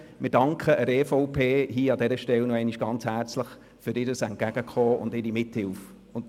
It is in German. Wir danken der EVP an dieser Stelle nochmals ganz herzlich für ihr Entgegenkommen und ihre Mithilfe.